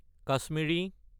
Kashmiri